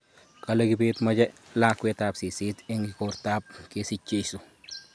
Kale kibet mache lakwet ab seset eng igorta ab kesich jeiso